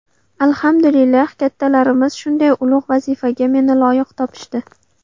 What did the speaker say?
Alhamdulillah, kattalarimiz shunday ulug‘ vazifaga meni loyiq topishdi.